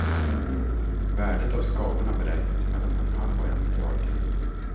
Värdet av skadorna beräknas till mellan en halv och en miljard kronor.